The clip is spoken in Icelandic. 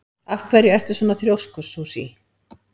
Af hverju ertu svona þrjóskur, Susie?